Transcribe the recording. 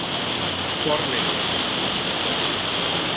Þorleikur